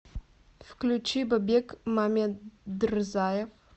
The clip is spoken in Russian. включи бабек мамедрзаев